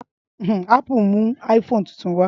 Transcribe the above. Ápù mú iPhone tuntun wá